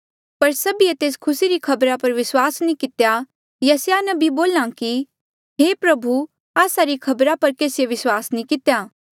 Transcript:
पर सभीए तेस खुसी री खबरा पर विस्वास नी कितेया यसायाह नबी बोल्हा कि हे प्रभु आस्सा री खबरा पर केसीए विस्वास नी कितेया